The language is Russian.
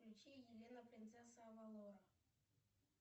включи елена принцесса авалора